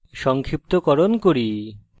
সংক্ষিপ্তকরণ করি